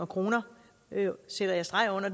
kroner sætter jeg streg under